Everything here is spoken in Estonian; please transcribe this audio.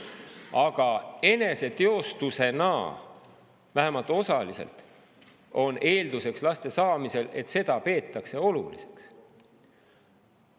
Aga laste saamisel eneseteostusena on vähemalt osaliselt eelduseks see, et seda peetakse oluliseks.